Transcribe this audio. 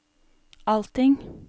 allting